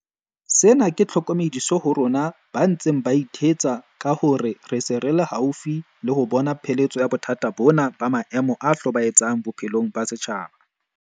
Sena ke tlhokomediso ho rona ba ntseng ba ithetsa ka hore re se re le haufi le ho bona pheletso ya bothata bona ba maemo a hlobae tsang bophelong ba setjhaba.